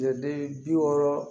Ɲɛdira